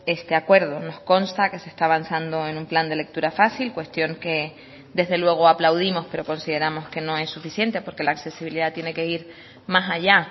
este acuerdo nos consta que se está avanzando en un plan de lectura fácil cuestión que desde luego aplaudimos pero consideramos que no es suficiente porque la accesibilidad tiene que ir más allá